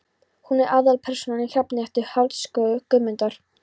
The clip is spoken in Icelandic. Hún er aðalpersónan í Hrafnhettu, skáldsögu Guðmundar